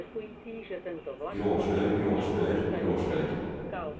gråslør gråslør gråslør